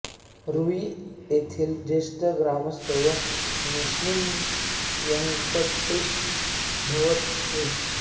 रूई येथीर ज्येष्ठ ग्रामस्थ व निस्सिम व्यंकटेश भवत श्री